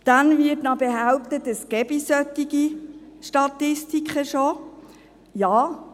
Dann wird noch behauptet, dass es solche Statistiken schon gebe.